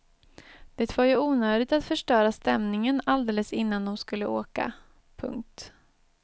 Det var ju onödigt att förstöra stämningen alldeles innan de skulle åka. punkt